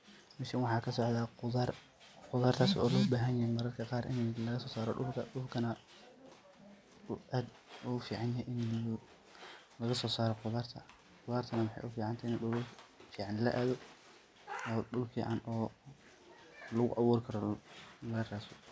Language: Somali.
Meshan waxa kasocdha qudhar, qudhartas o lobaxanyoho mararka qar ini lagasosaro dulka, dulkana u ad uguficanyaxay ini lagasosaro qudharta, qudhartana maxay uficantexe ini dulal fican laadho, o dul fican oo laguawurikaro laradhsado.